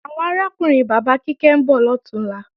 Àwọn arákùnrin bàbá Kíkẹ́ ń bọ̀ lọ̀túnla